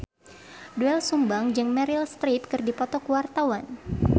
Doel Sumbang jeung Meryl Streep keur dipoto ku wartawan